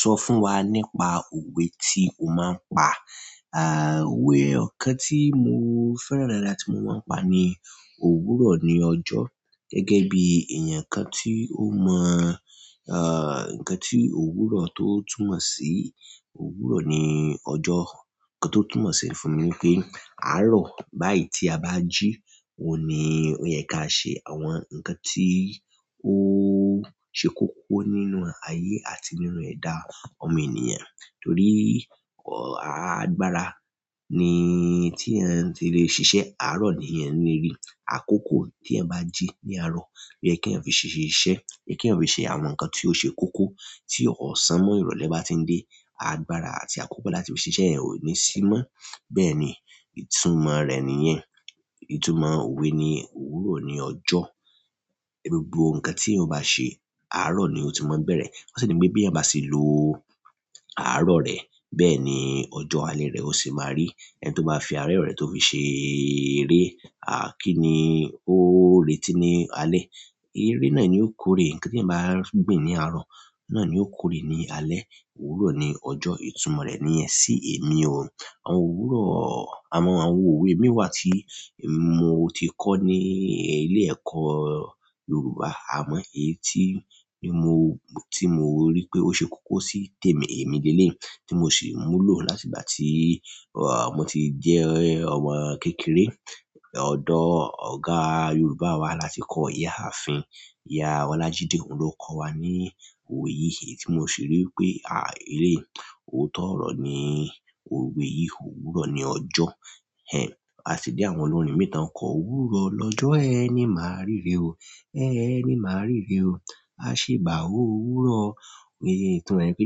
Sọ fún wa nípa òwe tí o máa ń pa. Òwe ẹyọ kan tí mo fẹ́ràn dáadáa tí mo máa ń pa ni òwúrọ̀ ni ọjọ́. Gẹ́gẹ́ bí èèyàn kan tí ó mọ, ǹkan tí òwúrọ̀ tó túmọ̀ sí, òwúrọ̀ ni ọjọ́. Ǹkan tó túmọ̀ sí fún mi ní pé àárọ̀ báyìí tí a bá jí òní, ó yẹ ká ṣe àwọn ǹkan tí ó ṣe kókó nínú ayé àti nínú ẹ̀dá ọmọ ènìyàn. Torí, ọ̀, agbára ni tí yan ti lè ṣiṣẹ́. Àárọ̀ nìyan leri àkókò tí ẹyan bá jí ní àárọ̀, ó yẹ kí eyan fi ṣe iṣẹ́, kí ẹyan fi ṣe àwọn ǹkan tí ó ṣe kókó tí ọ̀sán mọ́ ìrọ̀lẹ́ bá ti ń dé. Agbára àti àkókò láti fi ṣiṣẹ́ ẹ́ ó ní sí mọ́. Bẹ́ẹ̀ ni, ìtumọ̀ rẹ̀ nìyẹn. Ìtumọ̀ òwe ni òwúrọ̀ ni ọjọ́. Gbogbo ǹkan tí o bá ṣe àárọ̀ ni ó ti máa ń bẹ̀rẹ̀. Wọ́n sì ní pé bí ẹ́yan bá se lo àárọ̀ rẹ, bẹ́ẹ̀ ni ọjọ́ alẹ́ rẹ ó se máa rí. Ẹni to ma fi àárọ̀ re to fi se ere ah ki ni o reti ni alẹ́. Ère náà ni yóò kórè. Ǹkan tí ẹyan bá gbìn ní àárọ̀ náà ni yóò kórè ní alẹ́. Òwúrọ̀ ni ọjọ́, ìtumọ̀ rẹ̀ nìyẹn sí èmi o. Àwọn òwúrọ̀-- àwọn òwe mìíràn tí mo ti kọ́ ní ilé ẹ̀kọ́ Yorùbá, àmọ́ èyí tí mo, tí mo rí pé ó ṣe kókó sí tèmi, èmi lé lé, tí mo sì múlò láti ìgbà tí, ọ̀, mo ti jẹ́ ọmọ kékeré. Odò Ọ̀gá Yorùbá wa la ti kọ́ ìyá ààfin, Ìyá Olajide. Òun ló kọ́ wa ní òwe yìí. Èyí tí mo sì rí pé, à, ele òótọ́ ọ̀rọ̀ ni òwe yìí. Òwúrọ̀ ni ọjọ́. Ẹ sì ni àwọn olórin mìíràn kọ òwúrọ̀ lọ́jọ́, ẹni máa ríre o, ẹni máa ríre o. Ase ba òwúrọ̀, ni itumo e ni pe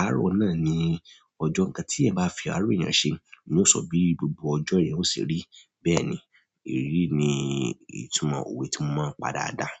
àárọ̀ náà ni ojo, nkan ti eyan ba fi àárọ̀ eyan se yóò so bi gbogbo ojo eyan o se ri. Bẹ́ẹ̀ ni, èyí ni ìtumọ̀ òwe tí mo máa ń pa dáadáa.